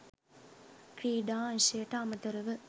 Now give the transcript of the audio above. ක්‍රීඩා අංශයට අමතරව